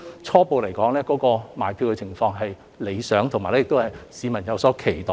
初步來說，售票情況理想，市民亦有所期待。